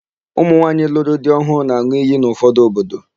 Ụmụnwaanyị lụrụ di ọhụụ na-an̄ụ iyi n'ụfọdụ obodo.